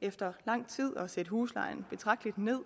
efter lang tid at sætte huslejen betragteligt ned